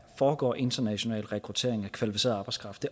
foregår international rekruttering af kvalificeret arbejdskraft